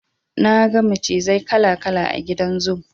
Na ga macizai kala kala a gidan zoo.